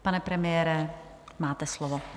Pane premiére, máte slovo.